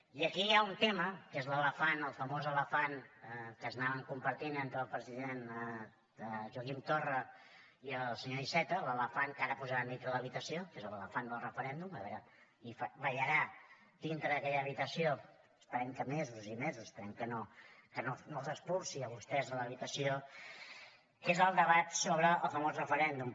i aquí hi ha un tema que és l’elefant el famós elefant que anaven compartint entre el president joaquim torra i el senyor iceta l’elefant que ara posaran dintre de l’habitació que és l’elefant del referèndum i ballarà dintre d’aquella habitació esperem que mesos i mesos esperem que no els expulsi a vostès de l’habitació que és el debat sobre el famós referèndum